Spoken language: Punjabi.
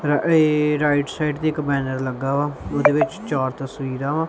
ਰ ਏਹ ਰਾਇਟ ਸਾਈਡ ਦੇ ਇੱਕ ਬੈਨਰ ਲੱਗਾ ਵਾ ਓਹਦੇ ਵਿੱਚ ਚਾਰ ਤਸਵੀਰਾਂ ਵਾਂ।